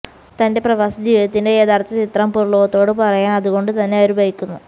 തന്റെ പ്രവാസ ജീവിതത്തിന്റെ യഥാര്ഥ ചിത്രം പുറംലോകത്തോട് പറയാന് അതുകൊണ്ട് തന്നെ അവര് ഭയക്കുന്നു